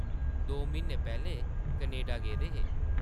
दो म्हीने पैह्लें कनेडा गेदे हे ।